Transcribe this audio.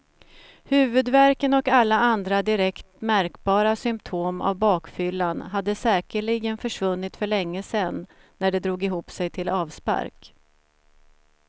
Huvudvärken och alla andra direkt märkbara symptom av bakfyllan hade säkerligen försvunnit för länge sen, när det drog ihop sig till avspark.